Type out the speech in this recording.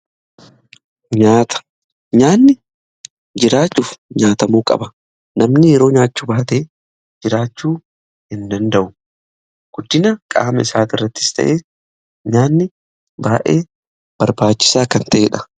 Nyaata nyaanni jiraachuuf nyaatamuu qaba namni yeroo nyaachuu baatee jiraachuu hin danda'u. Guddina qaama isaati irrattis ta'ee nyaanni baa'ee barbaachisaa kan ta'eedha.